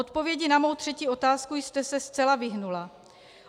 Odpovědi na mou třetí otázku jste se zcela vyhnula.